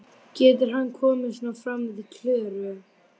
Getur hann komið svona fram við Klöru?